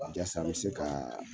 Jasa n mi se kaa